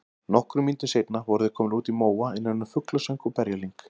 Nokkrum mínútum seinna voru þeir komnir út í móa innan um fuglasöng og berjalyng.